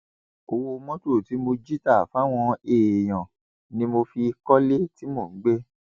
ọwọ mọtò tí mo jí tà fáwọn èèyàn ni mo fi kọlé tí mò ń gbé